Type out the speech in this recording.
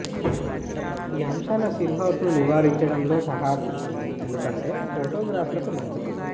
ఈ అంశాల సిల్హౌట్ ను నివారించడంలో సహాయపడుతుంది ఎందుకంటే ఫోటోగ్రాఫ్లకు మంచిది